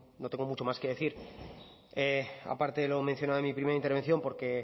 no tengo mucho más que decir aparte de lo mencionado en mi primera intervención porque